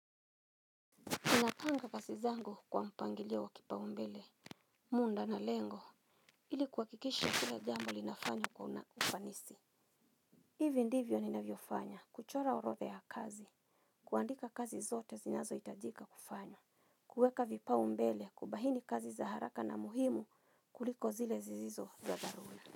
Inapanga kasi zangu kwa mpangilio wa kipa umbele. Munda na lengo ilikuwakikisha kila jamu linafanywa kwa unaufanisi. Hivi ndivyo ni na viofanya kuchora orotha ya kazi. Kuandika kazi zote zinazo itajika kufanywa. Kuweka vipa umbele kubahini kazi za haraka na muhimu kuliko zile zizizo za dharula.